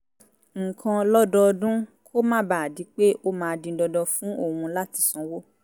nǹkan lọ́dọọdún kó má bàa di pé ó máa di dandan fún òun láti sanwó